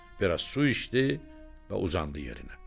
Bir az su içdi və uzandı yerinə.